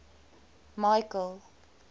michael